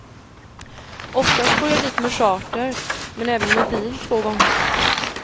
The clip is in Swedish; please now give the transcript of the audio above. Oftast for jag dit med charter, men även med bil två gånger.